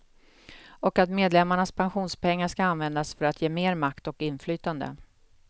Och att medlemmarnas pensionspengar ska användas för att ge mer makt och inflytande.